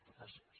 gràcies